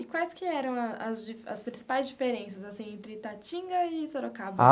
E quais que eram as di as principais diferenças, assim, entre Itatinga e Sorocaba?